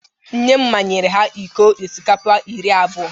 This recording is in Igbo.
Nne m manyere ha iko osikapa iri abụọ